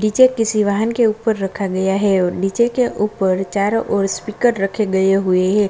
DJ किसी वाहन के ऊपर रखा गया है और डीजे के ऊपर चारो और स्पीकर रखे गए हुआ है।